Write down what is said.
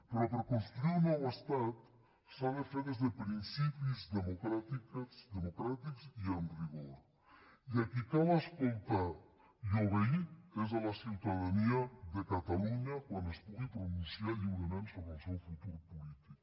però per construir un nou estat s’ha de fer des de principis democràtics i amb rigor i a qui cal escoltar i obeir és a la ciutadania de catalunya quan es pugui pronunciar lliurement sobre el seu futur polític